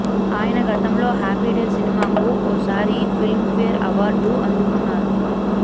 ఆయన గతంలో Happy Days సినిమాకు ఓ సారి ఫిల్మ్ ఫేర్ అవార్డు అందుకున్నారు